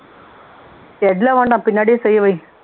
shed ல வேண்டாம் பின்னாடியே செய்ய வை